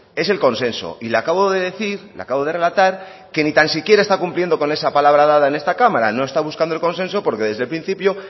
es el consenso y le acabo de decir le acabo de relatar que ni tan siquiera está cumpliendo con esa palabra dada en esta cámara no está buscando el consenso porque desde el principio